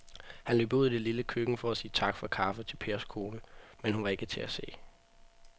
Han løb ud i det lille køkken for at sige tak for kaffe til Pers kone, men hun var ikke til at se.